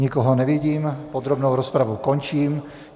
Nikoho nevidím, podrobnou rozpravu končím.